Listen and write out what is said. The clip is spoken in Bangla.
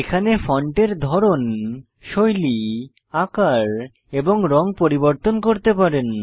এখানে ফন্টের ধরন শৈলী আকার এবং রঙ পরিবর্তন করতে পারেন